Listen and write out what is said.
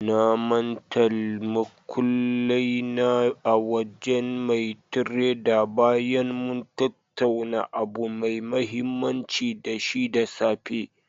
Na mantal muƙullai na a wajen mai tredar bayan mun tattauna abu mai mahimmanci da shi da safe.